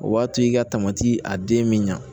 O b'a to i ka tamati a den bɛ ɲa